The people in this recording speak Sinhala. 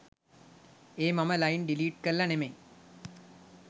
ඒ මම ලයින් ඩිලීට් කරල නෙමෙයි